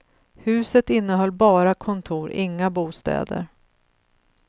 Huset innehöll bara kontor, inga bostäder.